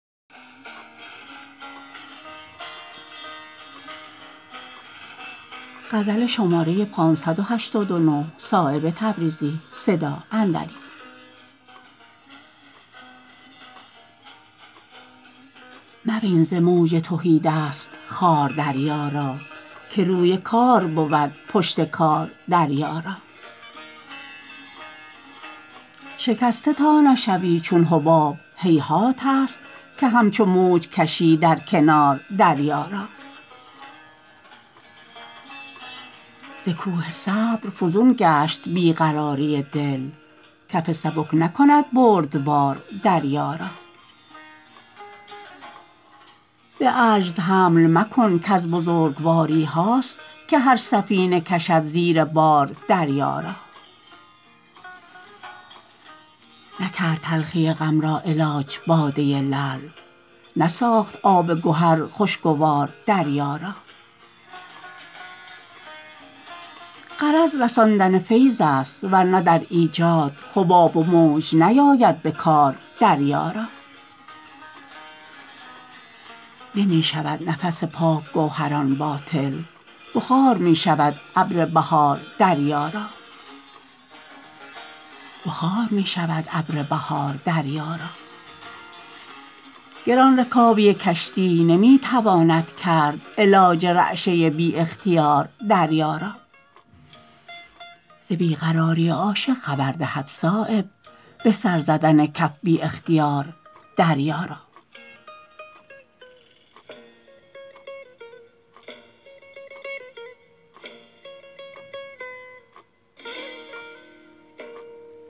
مبین ز موج تهیدست خوار دریا را که روی کار بود پشت کار دریا را شکسته تا نشوی چون حباب هیهات است که همچو موج کشی در کنار دریا را ز کوه صبر فزون گشت بی قراری دل کف سبک نکند بردبار دریا را به عجز حمل مکن کز بزرگواریهاست که هر سفینه کشد زیر بار دریا را نکرد تلخی غم را علاج باده لعل نساخت آب گهر خوشگوار دریا را غرض رساندن فیض است ورنه در ایجاد حباب و موج نیاید به کار دریا را نمی شود نفس پاک گوهران باطل بخار می شود ابر بهار دریا را گران رکابی کشتی نمی تواند کرد علاج رعشه بی اختیار دریا را ز بی قراری عاشق خبر دهد صایب به سر زدن کف بی اختیار دریا را